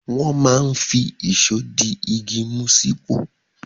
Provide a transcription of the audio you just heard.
Wọ́n máa ń fi ìṣó di igi mú sípò.